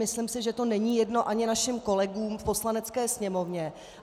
Myslím si, že to není jedno ani našim kolegům v Poslanecké sněmovně.